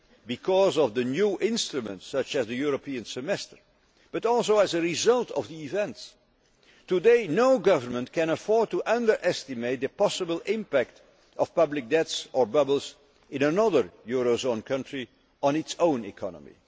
just because of the new instruments, such as the European Semester, but also as a result of events. Today, no government can afford to underestimate the possible impact of public debts or bubbles in another eurozone country on its own economy